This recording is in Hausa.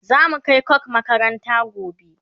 zamu Kai coke makaranta gobe